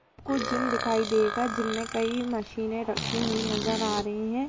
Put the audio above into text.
कुछ जिम दिखाई देगा जिम मे कई मशीन रखी हुई नजर आ रही है।